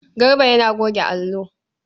Garba yana goge allo.